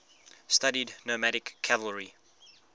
studied nomadic cavalry